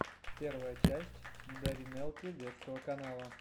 первая часть даринелки детского канала